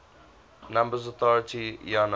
numbers authority iana